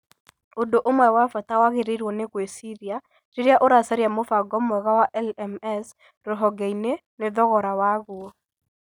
Ũndũ ũmwe wa bata wagĩrĩirũo nĩ gwĩciria rĩrĩa ũracaria mũbango mwega wa LMS rũhonge-inĩ nĩ thogora waguo.